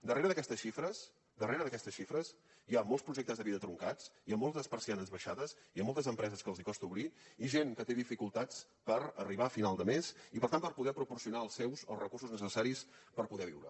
darrere d’aquestes xifres darrere d’aquestes xifres hi ha molts projectes de vida truncats hi ha moltes persianes baixades i hi ha moltes empreses que els costa obrir i gent que té dificultats per arribar a final de mes i per tant per poder proporcionar als seus els recursos necessaris per poder viure